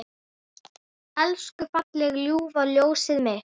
Elsku fallega ljúfa ljósið mitt.